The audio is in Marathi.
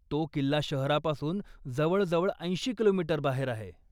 तो किल्ला शहरापासून जवळजवळ ऐंशी कि.मी. बाहेर आहे.